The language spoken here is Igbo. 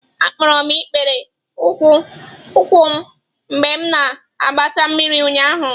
Akpọrọ m ikpere ụkwụ m mgbe m na-agbata mmiri ụnyahụ.